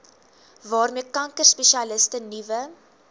waarmee kankerspesialiste nuwe